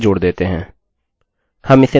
माफ़ कीजिये1 times 2 is 2